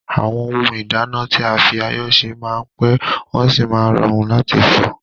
Àwọn ohun ìdáná tí a fi ayọ́ se máa n pẹ́, wọ́n sì máa n rọrùn láti fọ̀.